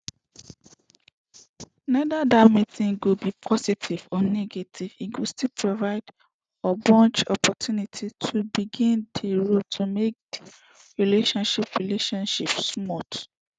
whether dat meeting go be positive or negative e still go provide ogbonge opportunity to begin di road to make di relationship relationship smooth